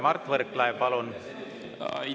Mart Võrklaev, palun!